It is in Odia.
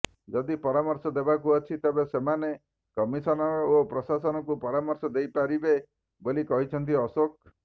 ଯଦି ପରାମର୍ଶ ଦେବାକୁ ଅଛି ତେବେ ସେମାନେ କମିଶନର ଓ ପ୍ରଶାସକଙ୍କୁ ପରାମର୍ଶ ଦେଇପାରିବେ ବୋଲି କହିଛନ୍ତି ଅଶୋକ